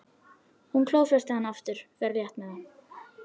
Hún klófestir hann aftur, fer létt með það.